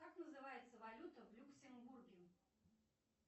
как называется валюта в люксембурге